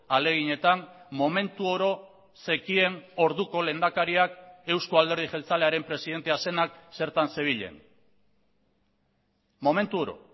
ahaleginetan momentu oro zekien orduko lehendakariak euzko alderdi jeltzalearen presidentea zenak zertan zebilen momentu oro